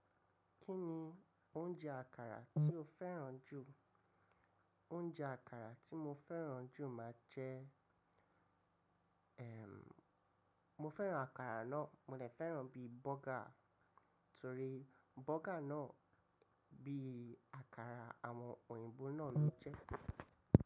Kí ni oúnjẹ àkàrà tí o fẹ́ràn jù? Oúnjẹ àkàrà tí mo fẹ́ràn jù máa jẹ́ Ehn, mo fẹ́ràn àkàrà náà, mo lè fẹ́ràn bí bọ́gà torí bọ́gà náà bí àkàrà àwọn òyìnbó náà ló ń jẹ́.